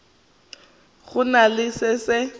go na le se se